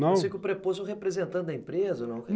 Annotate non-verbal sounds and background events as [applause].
Não? [unintelligible] representando a empresa, não? [unintelligible]